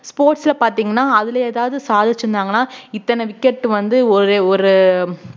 sports ல பார்த்தீங்கன்னா அதுல எதாவது சாதிச்சிருந்தாங்கன்னா இத்தன wicket வந்து ஒரு ஒரு